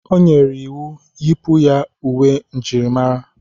O nyere iwu, Yipụ ya uwe njirimara!